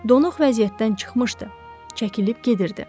Donuq vəziyyətdən çıxmışdı, çəkilib gedirdi.